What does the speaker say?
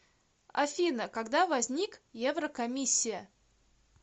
афина когда возник еврокомиссия